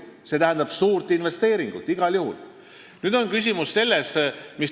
See tähendab igal juhul suurt investeeringut.